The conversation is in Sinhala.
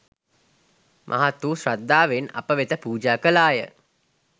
මහත් වූ ශ්‍රද්ධාවෙන් අප වෙතැ පුජා කළාය.